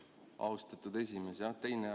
Austatud esimees!